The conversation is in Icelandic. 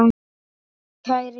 Kæri Jón.